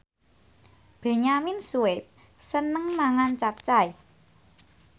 Benyamin Sueb seneng mangan capcay